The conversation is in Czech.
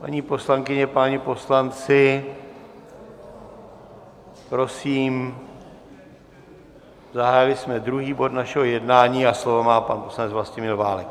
Paní poslankyně, páni poslanci, prosím, zahájili jsme druhý bod našeho jednání a slovo má pan poslanec Vlastimil Válek.